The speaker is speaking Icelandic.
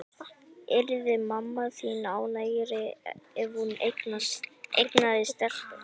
Yrði mamma þín ánægðari ef hún eignaðist stelpu?